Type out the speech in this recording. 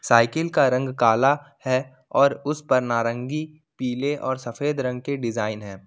Cycle का रंग काला है और उस पर नारंगी पीले और सफेद रंग के डिजाइन है।